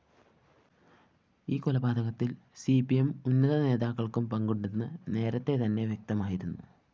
ഈ കൊലപാതകത്തില്‍ C P M ഉന്നത നേതാക്കള്‍ക്കും പങ്കുണ്ടെന്ന്‌ നേരത്തെതന്നെ വ്യക്തമായിരുന്നു